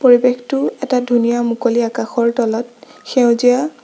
পৰিৱেশটোৰ এটা ধুনীয়া মুকলি আকাশৰ তলত সেউজীয়া--